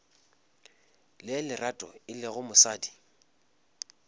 le lerato e lego mosadi